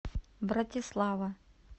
братислава